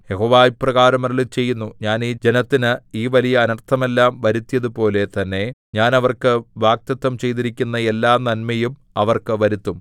യഹോവ ഇപ്രകാരം അരുളിച്ചെയ്യുന്നു ഞാൻ ഈ ജനത്തിന് ഈ വലിയ അനർത്ഥമെല്ലാം വരുത്തിയതുപോലെ തന്നെ ഞാൻ അവർക്ക് വാഗ്ദത്തം ചെയ്തിരിക്കുന്ന എല്ലാ നന്മയും അവർക്ക് വരുത്തും